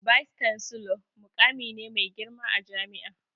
"Vice chancellor'' muƙami ne mai girma a jami'a